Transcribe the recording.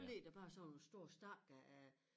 Så ligger der bare sådan nogle store stakker af